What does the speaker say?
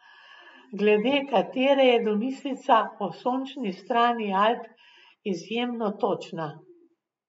Glede katere je domislica o sončni strani Alp izjemno točna.